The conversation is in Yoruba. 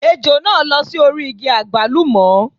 Ejò náà lọ́ sórí igi àgbálùmọ́.